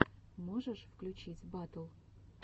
можешь включить батл